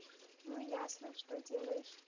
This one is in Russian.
ну ясно что делаешь